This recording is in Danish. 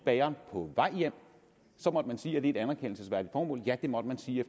bageren på vej hjem må man sige er det et anerkendelsesværdigt formål ja det må man sige